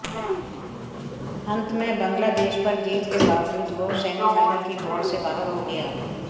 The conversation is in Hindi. अंत में बांग्लादेश पर जीत के बावजूद वो सेमीफाइनल की दौड़ से बाहर हो गया